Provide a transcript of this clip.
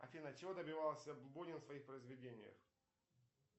афина чего добивался бунин в своих произведениях